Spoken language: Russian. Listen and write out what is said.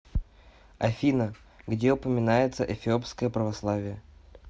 афина где упоминается эфиопское православие